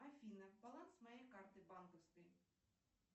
афина баланс моей карты банковской